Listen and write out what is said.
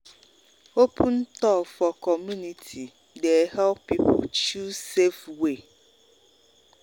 open talk for community dey help people choose safe way.